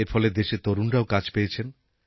এর ফলে দেশের তরুণরাও কাজ পেয়েছেন